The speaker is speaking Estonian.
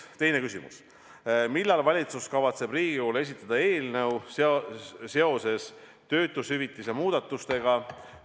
Teine küsimus: "Millal valitsus kavatseb Riigikogule esitada eelnõu seoses töötushüvitiste muudatustega?